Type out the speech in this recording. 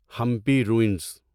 Hampi ruins